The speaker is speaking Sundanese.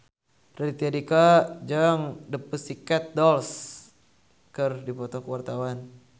Raditya Dika jeung The Pussycat Dolls keur dipoto ku wartawan